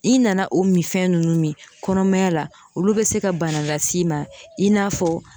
I nana o mi fɛn nunnu min kɔnɔmaya la olu be se ka bana las'i ma i n'a fɔ